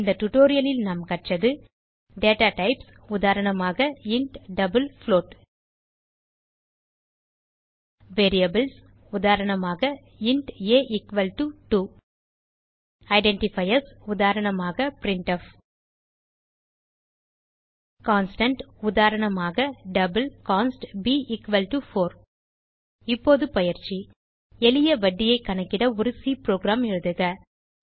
இந்த டியூட்டோரியல் லில் நாம் கற்றது டேட்டா டைப்ஸ் உதாரணமாக இன்ட் டபிள் புளோட் வேரியபிள்ஸ் உதாரணமாக இன்ட் ஆ2 ஐடென்டிஃபயர்ஸ் உதாரணமாக பிரின்ட்ஃப் கான்ஸ்டன்ட் உதாரணமாக டபிள் கான்ஸ்ட் b4 இப்போது பயிற்சி எளிய வட்டியைக் கணக்கிட ஒரு சி புரோகிராம் எழுதுக